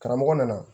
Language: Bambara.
Karamɔgɔ nana